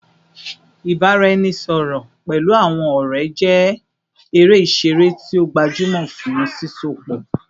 Ibaraẹnisọrọ pẹlu awọn ọrẹ jẹ ere iṣere ti o gbajumọ fun sisọpọ